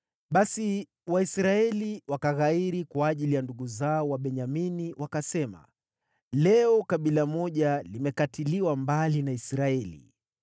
Basi Waisraeli wakaghairi kwa ajili ya ndugu zao Wabenyamini, wakasema, “Leo kabila moja limekatiliwa mbali na Israeli.